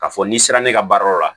K'a fɔ n'i sera ne ka baarayɔrɔ la